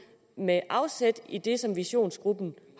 med afsæt i det som visionsgruppen